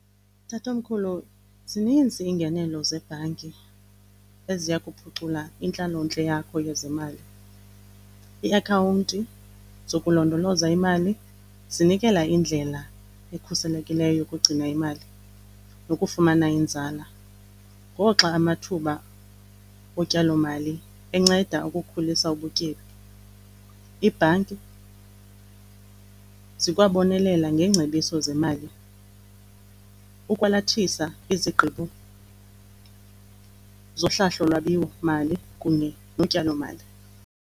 Tatomkhulu, zininzi iingenelo zebhanki eziya kuphucula intlalontle yakho yezemali. Iiakhawunti zokulondoloza imali zinikela indlela ekhuselekileyo yokugcina imali nokufumana inzala ngoxa amathuba otyalomali enceda ukukhulisa ubutyebi. Iibhanki zikwabonelela ngeengcebiso zemali ukwalathisa izigqibo zohlahlolwabiwomali kunye notyalomali.